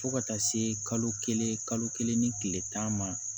Fo ka taa se kalo kelen kalo kelen ni tile tan ma